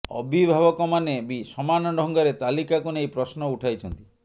ଅଭିଭାବକମାନେ ବି ସମାନ ଢ଼ଙ୍ଗରେ ତାଲିକାକୁ ନେଇ ପ୍ରଶ୍ନ ଉଠାଇଛନ୍ତି